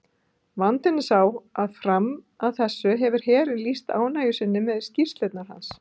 Vandinn er sá að fram að þessu hefur herinn lýst ánægju sinni með skýrslurnar hans.